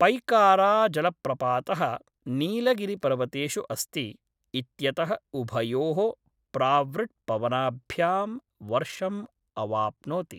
पैकाराजलप्रपातः नीलगिरिपर्वतेषु अस्ति इत्यतः उभयोः प्रावृट्पवनाभ्यां वर्षम् अवाप्नोति।